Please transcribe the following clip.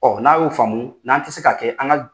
Ɔ n'a y'o faamu n'an tɛ se ka kɛ an ka jɛ